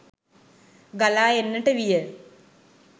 ගලා එන්නට විය.